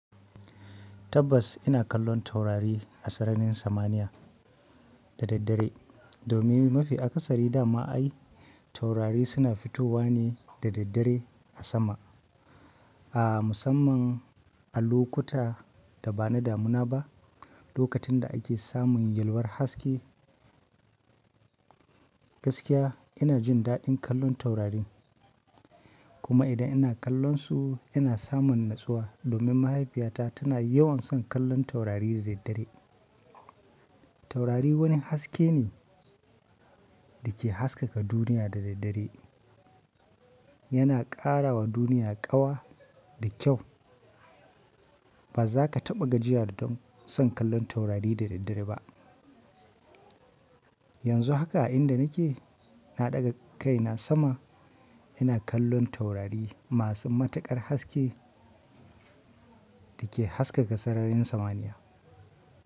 Tabbas ina kallon taurari a sararin samaniya da daddare. Domin mafi akasari dama ai taurari suna fitowa ne da daddare a sama. Ahh musamman a lokuta da ba na damuna ba, lokacin da ake samun yalwar haske gaskiya ina jin daɗin kallon taurari. Kuma idan ina kallonsu ina samun natsuwa domin mahaifiyata tana yawan son kallon taurari da daddare. Taurari wani haske ne da ke haskaka duniya da daddare, yana ƙara wa duniya ƙawa da kyau. Ba za ka taɓa gajiya da don son kallon taurari da daddare ba. Yanzu haka a inda nake na ɗaga kai na sama ina kallon taurari masu matuƙar haske da ke haskaka sararin samaniya.